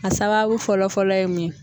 A sababu fɔlɔ fɔlɔ ye mun ye.